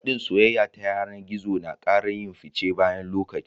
hadin soyayya ta yanar gizo nakara yin fice bayan lokaci